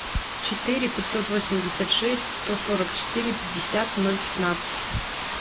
четыре пятьсот восемьдесят шесть сто сорок четыре пятьдесят ноль пятнадцать